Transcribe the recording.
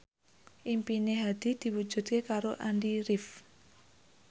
impine Hadi diwujudke karo Andy rif